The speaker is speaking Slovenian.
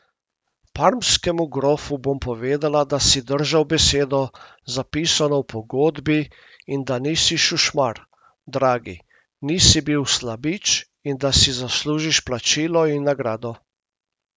Parmskemu grofu bom povedala, da si držal besedo, zapisano v pogodbi, in da nisi šušmar, dragi, nisi bil slabič, in da si zaslužiš plačilo in nagrado.